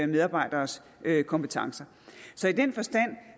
medarbejderes kompetencer så i den forstand